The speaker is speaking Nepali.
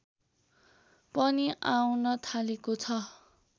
पनि आउन थालेको छ